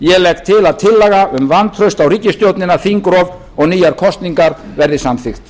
ég legg til að tillaga um vantraust á ríkisstjórnina þingrof og nýjar kosningar verði samþykkt